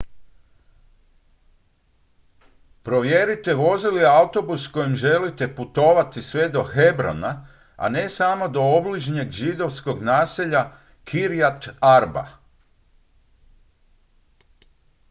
provjerite vozi li autobus kojim želite putovati sve do hebrona a ne samo do obližnjeg židovskog naselja kiryat arba